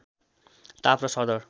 ताप र सरदर